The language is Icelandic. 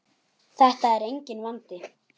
Þetta er enginn vandi!